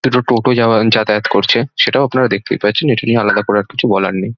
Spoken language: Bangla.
দুটো টোটো যাও যাতায়াত করছে সেটাও আপনারা দেখতেই পাচ্ছেন সেটা নিয়ে আর আলাদা করে কিছু বলার নেই |